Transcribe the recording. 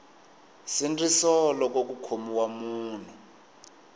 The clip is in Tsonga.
nsindziso loko ku khomiwa munhu